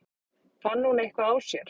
Fann hún eitthvað á sér?